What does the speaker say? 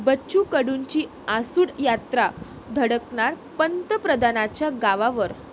बच्चू कडूंची आसूड यात्रा धडकणार पंतप्रधानांच्या गावावर!